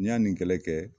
N'i y'a nin kɛlɛ kɛ